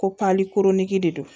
Ko pali koroniki de don